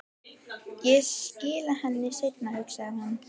Ég skila henni seinna, hugsaði hún.